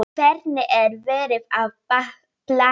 Hvern er verið að plata?